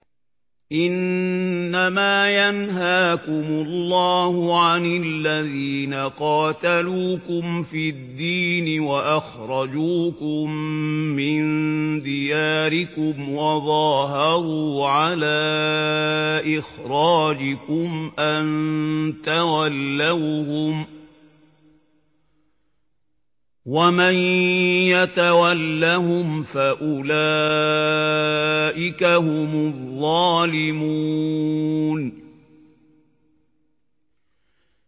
إِنَّمَا يَنْهَاكُمُ اللَّهُ عَنِ الَّذِينَ قَاتَلُوكُمْ فِي الدِّينِ وَأَخْرَجُوكُم مِّن دِيَارِكُمْ وَظَاهَرُوا عَلَىٰ إِخْرَاجِكُمْ أَن تَوَلَّوْهُمْ ۚ وَمَن يَتَوَلَّهُمْ فَأُولَٰئِكَ هُمُ الظَّالِمُونَ